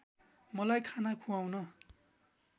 मलाई खाना खुवाउन